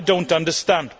I do not understand.